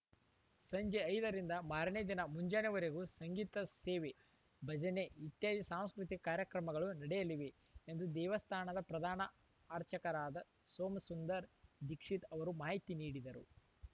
ಸಂಜೆ ಐದ ರಿಂದ ಮಾರನೇ ದಿನ ಮುಂಜಾನೆವರೆಗೂ ಸಂಗೀತ ಸೇವೆ ಭಜನೆ ಇತ್ಯಾದಿ ಸಾಂಸ್ಕೃತಿಕ ಕಾರ್ಯಕ್ರಮಗಳು ನಡೆಯಲಿವೆ ಎಂದು ದೇವಸ್ಥಾನದ ಪ್ರಧಾನ ಅರ್ಚಕರಾದ ಸೋಮಸುಂದರ ದೀಕ್ಷಿತ್‌ ಅವರು ಮಾಹಿತಿ ನೀಡಿದರು